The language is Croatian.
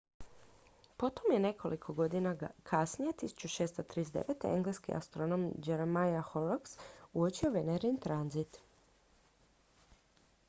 potom je nekoliko godina kasnije 1639 engleski astronom jeremiah horrocks uočio venerin tranzit